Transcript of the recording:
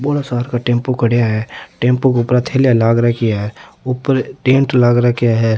बोला सार का टेम्पो खड़ा है टेंपू के ऊपर थैलिया लाग रखी है ऊपर टेंट लाग रखे है।